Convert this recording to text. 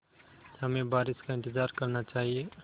हमें बारिश का इंतज़ार करना चाहिए